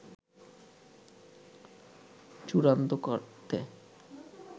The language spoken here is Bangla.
চূড়ান্ত করতে